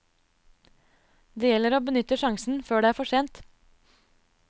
Det gjelder å benytte sjansen før det er for sent.